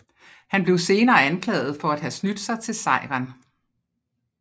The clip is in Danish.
Han blev senere anklaget for at have snydt sig til sejren